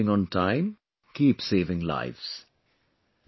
keep reaching on time, keep saving lives